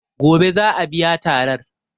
Gobe za a biya tarar.